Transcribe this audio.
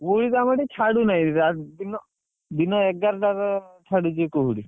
କୁହୁଡି ତ ଆମ ଏଠି ଛାଡୁନାହି ଦିନ ଦିନ ଏଗାରଟା ରେ ଛାଡ଼ୁଛି କୁହୁଡି।